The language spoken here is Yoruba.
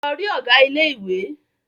Lọ rí Ọ̀gá ilé ìwé!